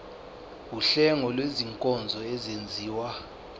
wuhlengo lwezinkonzo ezenziwa